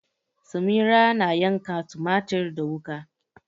Samira na yanka tumatir da wuka.